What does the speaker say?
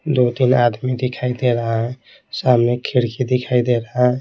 दो-तीन आदमी दिखाई दे रहा है सामने खिड़की दिखाई दे रहा है।